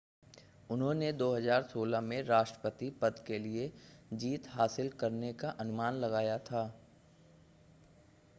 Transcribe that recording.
उन्होंने 2016 में राष्ट्रपति पद के लिए जीत हासिल करने का अनुमान लगाया है